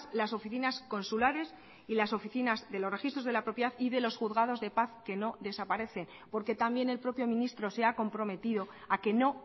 las oficinas consulares y las oficinas de los registros de la propiedad y de los juzgados de paz que no desaparece porque también el propio ministro se ha comprometido a que no